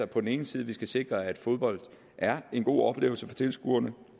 på den ene side skal sikre at fodbold er en god oplevelse for tilskuerne